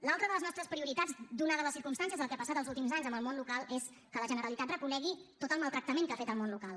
l’altra de les nostres prioritats ateses les circumstàncies del que ha passat els últims anys amb el món local és que la generalitat reconegui tot el maltractament que ha fet al món local